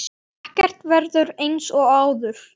Ekkert verður eins og áður.